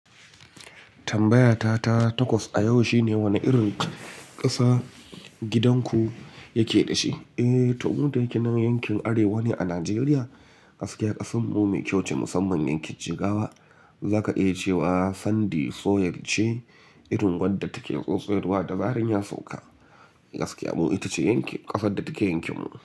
Tambayata ta takwas a yau shine wane irin ƙasa gidan ku yake dashi? Eh, toh mu da ke nan yankin arewa ne a Najeriya. Gaskiya ƙasanmu mai kyau ce musamman yankin Jigawa. Zaka iya cewa sandy soil ce irin wadda take tsotsayarwa da zaran ya sauka. Gaskiya mu ita ce yankin ƙasar da take yankin mu.